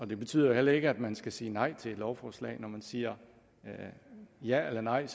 det betyder jo heller ikke at man skal sige nej til et lovforslag når man siger ja eller nej